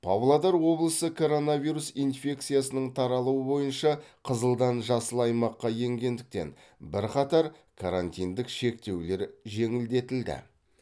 павлодар облысы коронавирус инфекциясының таралуы бойынша қызылдан жасыл аймаққа енгендіктен бірқатар карантиндік шектеулер жеңілдетілді